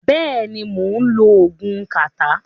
Bẹ́ẹ̀ ni, mò ń lo oògùn kàtá.